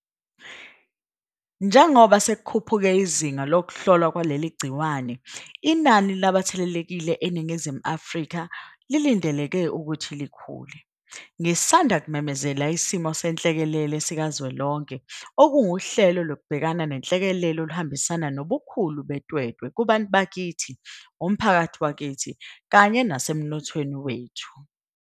Njengoba sekukhuphuke izinga lokuhlolwa kwaleli gciwane, inani labathelelekile eNingizimu Afrika kulindeleke ukuthi likhule. Ngisanda kumemezela isimo senhlekelele sikazwelonke, okunguhlelo lokubhekana nenhlekelele oluhambisana nobukhulu betwetwe kubantu bakithi, umphakathi wakithi kanye nasemnothweni wethu.